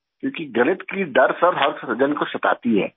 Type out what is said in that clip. کیوں کہ ریاضی کا ڈر ہر کسی کو ستاتا ہے